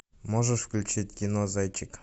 можешь включить кино зайчик